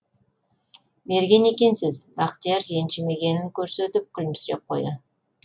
мерген екенсіз бақтияр ренжімегенін көрсетіп күлімсіреп қойды